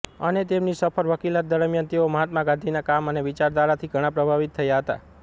અને તેમની સફળ વકીલાત દરમ્યાન તેઓ મહાત્મા ગાંધીના કામ અને વિચારધારાથી ઘણા પ્રભાવિત થયા હતા